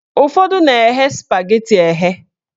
Ụfọdụ na-eghe spageti eghe.